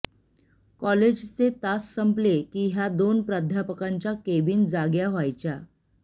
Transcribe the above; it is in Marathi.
कॉलेजचे तास संपले की ह्या दोन प्राध्यापकांच्या केबिन जाग्या व्हायच्या